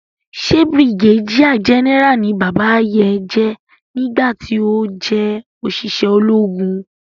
Ṣe brigadier general ni bàbá yé jé ní gbà ti ọ jé oṣiṣẹ ológun?